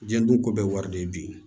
Diɲɛ dun ko bɛɛ wari de bi